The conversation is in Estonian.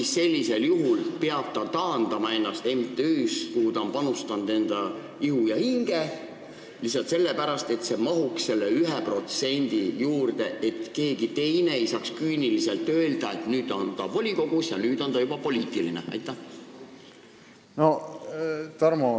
Kas sellisel juhul peab ta ennast taandama MTÜ-st, kuhu ta on panustanud enda ihu ja hinge, lihtsalt sellepärast, et mahtuda selle 1% alla, et keegi ei saaks küüniliselt öelda, et nüüd on ta volikogus ja juba poliitiline isik?